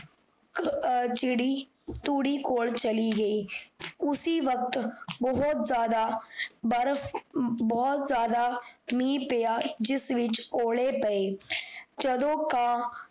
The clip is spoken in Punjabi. ਅਹ ਚਿੜੀ, ਤੂੜੀ ਕੋਲ ਚਲੀ ਗਈ ਉਸੀ ਵਕ਼ਤ, ਬੋਹੋਤ ਜਾਦਾ ਬਰਫ਼, ਬੋਹੋਤ ਜਾਦਾ, ਮੀਹ ਪਿਆ, ਜਿਸ ਵਿਚ ਓਲੇ ਪਏ ਜਦੋਂ ਕਾਂ